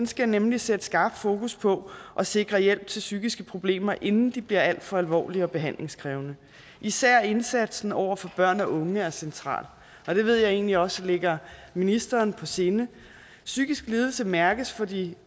skal nemlig sætte skarp fokus på at sikre hjælp til psykiske problemer inden de bliver alt for alvorlige og behandlingskrævende især indsatsen over for børn og unge er central og det ved jeg egentlig også ligger ministeren på sinde psykiske lidelser mærkes for de